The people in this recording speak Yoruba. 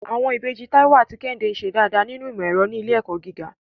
Àwọn ìbejì Táíwò àti Kẹ́hìndé ń ṣe dáadáa nínú ìmọ̀ ẹ̀rọ ní ilé ẹ̀kọ́ gíga.